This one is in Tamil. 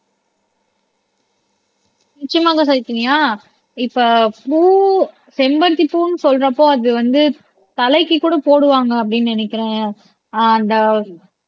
நிச்சயமாக சைதன்யா இப்ப பூ செம்பருத்தி பூன்னு சொல்றப்போ அது வந்து தலைக்கு கூட போடுவாங்க அப்படீன்னு நினைக்கிறேன்